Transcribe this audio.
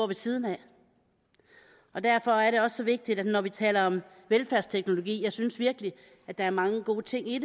ved siden af og derfor er det også så vigtigt at når vi taler om velfærdsteknologi og jeg synes virkelig der er mange gode ting i